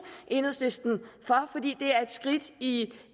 enhedslisten for fordi det er et skridt i